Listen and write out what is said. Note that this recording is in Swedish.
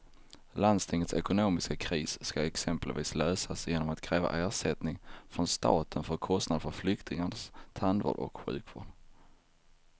Landstingets ekonomiska kris ska exempelvis lösas genom att kräva ersättning från staten för kostnader för flyktingars tandvård och sjukvård.